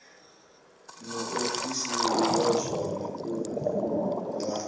muofisiri wa zwa mafhungo nga